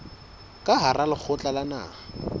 ka hara lekgotla la naha